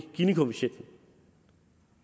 ginikoefficient